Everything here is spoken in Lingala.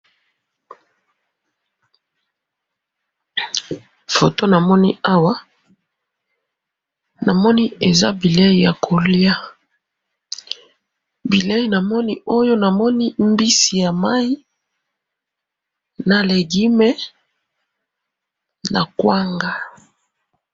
Foto namoni awa, namoni eza bileyi yakoliya, bileyi namoni oyo, namoni mbisi yamayi, na legume, nakwanga.